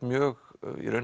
mjög